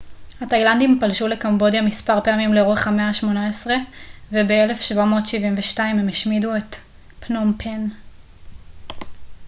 התאילנדים פלשו לקמבודיה מספר פעמים לאורך המאה ה-18 וב-1772 הם השמידו את פנום פן